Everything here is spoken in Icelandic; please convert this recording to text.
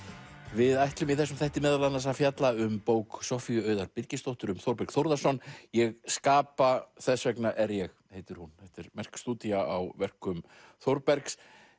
við ætlum í þessum þætti meðal annars að fjalla um bók Soffíu Auðar Birgisdóttur um Þórberg Þórðarson ég skapa þess vegna er ég heitir hún þetta er merk stúdía á verkum Þórbergs